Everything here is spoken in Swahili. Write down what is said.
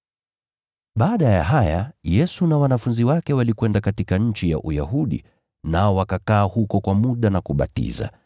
Baada ya haya, Yesu na wanafunzi wake walikwenda katika nchi ya Uyahudi, nao wakakaa huko kwa muda na kubatiza.